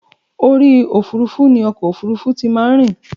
Orí òfurufú ni ọkọ̀ òfurufú ti máa ń rìn.